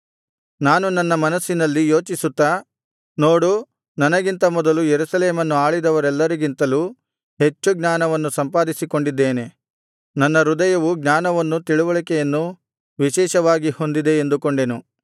ನಾನು ನನ್ನ ಮನಸ್ಸಿನಲ್ಲಿ ಯೋಚಿಸುತ್ತಾ ನೋಡು ನನಗಿಂತ ಮೊದಲು ಯೆರೂಸಲೇಮನ್ನು ಆಳಿದವರೆಲ್ಲರಿಗಿಂತಲೂ ಹೆಚ್ಚು ಜ್ಞಾನವನ್ನು ಸಂಪಾದಿಸಿಕೊಂಡಿದ್ದೇನೆ ನನ್ನ ಹೃದಯವು ಜ್ಞಾನವನ್ನೂ ತಿಳಿವಳಿಕೆಯನ್ನೂ ವಿಶೇಷವಾಗಿ ಹೊಂದಿದೆ ಎಂದುಕೊಂಡೆನು